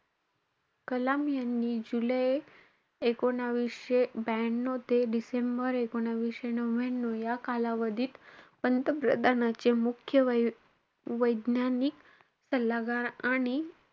कलाम यांनी जुलै एकोणवीसशे ब्यानऊ ते डिसेंबर एकोणवीसशे नव्ह्यान्यू या कालावधीत, पंतप्रधानाचे मुख्य वैज्ञानिक सल्लागार आणि,